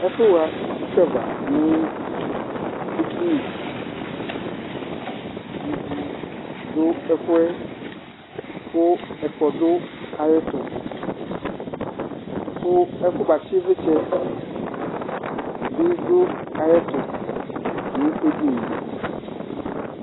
Ɛfuha itsʋava ŋu edini Ivù ɖʋ ɛfuɛ kʋ ɛkpɔ ɖʋ aɣʋɛtu Kʋ ɛfubatsi ivlitsɛ bi ɖʋ aɣʋɛtu ŋu edinie